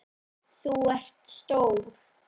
Þú ert stór.